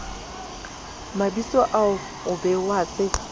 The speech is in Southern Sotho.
mabitsoao o be o a